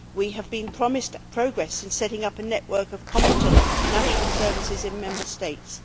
We have been promised progress in setting up a network of competent national services in Member States.